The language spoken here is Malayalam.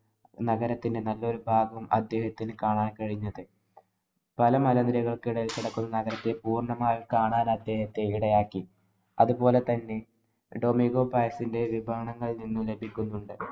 നഗരത്തിന്‍റെ നല്ലൊരു ഭാഗം അദ്ദേഹത്തിനു കാണാന്‍ കഴിഞ്ഞത്. പല മലനിരകള്‍ക്കു ഇടയില്‍ കിടക്കുന്ന നഗരത്തെ പൂര്‍ണ്ണമായി കാണാന്‍ അദേഹത്തെ ഇടയാക്കി. അതുപോലെ തന്നെ ഡൊമീഗോ പയസിന്‍റെ വിവരണങ്ങളില്‍ നിന്ന് ലഭിക്കുന്നുണ്ട്.